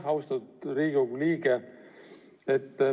Aitäh, austatud Riigikogu liige!